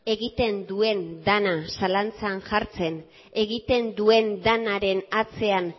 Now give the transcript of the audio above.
egiten duen dena zalantzan jartzen egiten duen denaren atzean